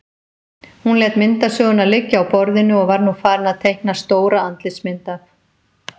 Hún lét myndasöguna liggja á borðinu og var nú farin að teikna stóra andlitsmynd af